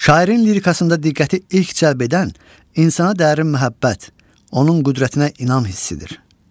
Şairin lirikasında diqqəti ilk cəlb edən insana dərin məhəbbət, onun qüdrətinə inam hissidir.